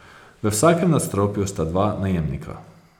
V vsakem nadstropju sta dva najemnika.